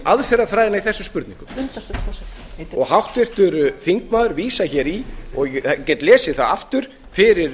aðferðafræðina í þessum kosningum og háttvirtur þingmaður vísar í og ég get lesið það aftur fyrir